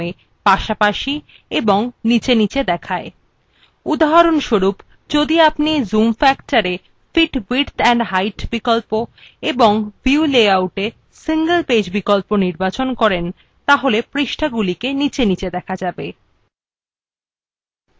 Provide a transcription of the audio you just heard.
উদাহরণস্বরূপ যদি আপনি zoom factor fit width and height বিকল্প এবং view layout we single page বিকল্প নির্বাচন করেন তাহলে পৃষ্ঠাগুলিকে নীচে নীচে দেখা যাবে